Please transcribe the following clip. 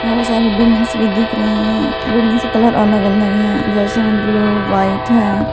बहुत सारे बिल्डिंग भी दिख रहे है बिल्डिंग का कलर अलग अलग है जिसमें में ब्ल्यू वाइट है।